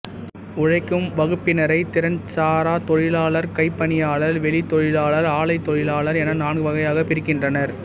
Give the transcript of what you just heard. உழைக்கும் வகுப்பினரைத் திறன்சாராத் தொழிலாளர் கைப்பணியாளர் வெளித் தொழிலாளர் ஆலைத் தொழிலாளர் என நான்கு வகையாகப் பிரிக்கின்றனர்